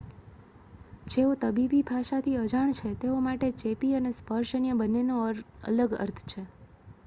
જેઓ તબીબી ભાષાથી અજાણ છે તેઓ માટે ચેપી અને સ્પર્શજન્ય બંનેનો અલગ અર્થ છે